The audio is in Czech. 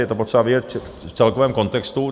Je to potřeba vidět v celkovém kontextu.